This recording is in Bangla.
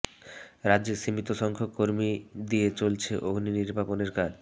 রাজ্যে সীমিত সংখ্যক কর্মী দিয়ে চলছে অগ্নি নির্বাপনের কাজ